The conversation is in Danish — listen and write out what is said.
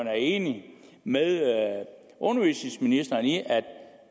er enig med undervisningsministeren i at